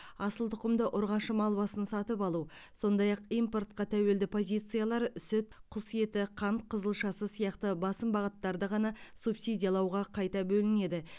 асыл тұқымды ұрғашы мал басын сатып алу сондай ақ импортқа тәуелді позициялар сүт құс еті қант қызылшасы сияқты басым бағыттарды ғана субсидиялауға қайта бөлінеді